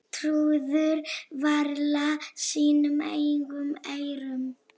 Trúðu varla sínum eigin eyrum.